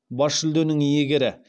бас жүлденің иегері